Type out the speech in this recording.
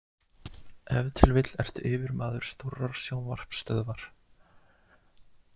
Ef til vill ertu yfirmaður stórrar sjónvarpsstöðvar.